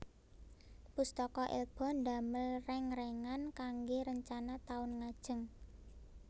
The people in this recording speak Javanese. Pustaka Elba ndamel reng rengan kangge rencana taun ngajeng